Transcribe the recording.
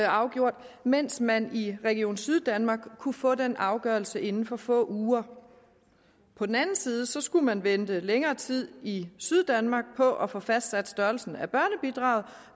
afgjort mens man i region syddanmark kunne få den afgørelse inden for få uger på den anden side skulle man vente længere tid i syddanmark på at få fastsat størrelsen af børnebidraget